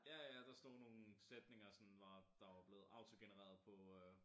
Ja ja der stod nogen sætninger sådan var der var blevet autogenereret på øh